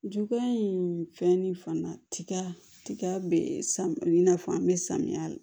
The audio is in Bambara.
Juguya in fɛn ni fana tiga tiga bɛ samiya bɛ samiya la